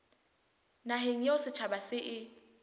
naheng eo setjhaba se e